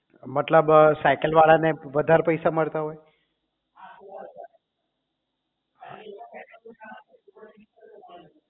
મતલબ સાયકલ વાળા ને વધારે પૈસા મળતા હોય